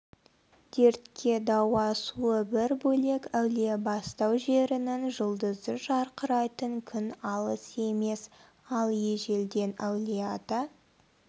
дертке дауа суы бір бөлек әулиебастау жерінің жұлдызы жарқырайтын күн алыс емес ал ежелден әулиеата